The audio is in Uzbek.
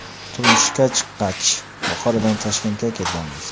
Turmushga chiqqach Buxorodan Toshkentga kelganmiz.